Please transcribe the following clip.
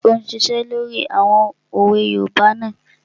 Ṣé ò ún ṣiṣẹ́ lórí àwọn òwe yoòbá náà?